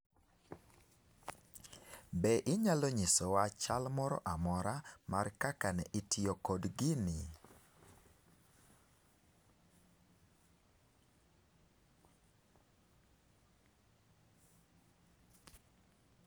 Be inyalo nyisowa chal moro amora mar kaka ne itiyo kod gini.